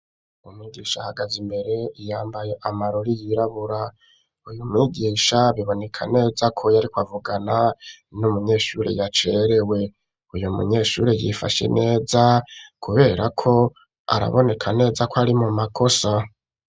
Umwigisha ahagaz'imbere yambaye amarori yirabura ,uyu mwigisha biboneka neza ko yarikw'avugana n'umunyeshuri yacerewe ,uyu munyeshuri yifashe neza kubera ko araboneka neza ko ari mu makosa.